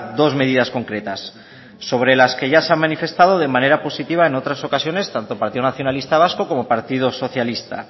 dos medidas concretas sobre las que ya se han manifestado de manera positiva en otras ocasiones tanto partido nacionalista vasco como partido socialista